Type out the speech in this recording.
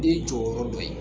Ne jɔyɔrɔ dɔ ye